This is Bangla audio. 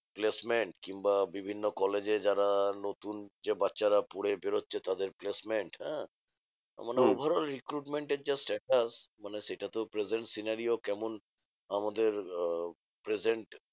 Placement কিংবা বিভিন্ন কলেজে যারা নতুন যে বাচ্চারা পরে বেরোচ্ছে তাদের placement হ্যাঁ? মানে overall recruitment এর যা status মানে সেটা তো present scenario কেমন? আমাদের আহ present